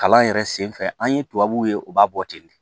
Kalan yɛrɛ sen fɛ an ye tubabuw ye u b'a bɔ ten de